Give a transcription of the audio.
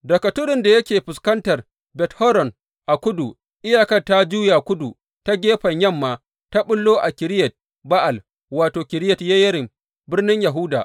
Daga tudun da yake fuskantar Bet Horon a kudu, iyakar ta juya kudu ta gefen yamma ta ɓullo a Kiriyat Ba’al wato, Kiriyat Yeyarim, birnin Yahuda.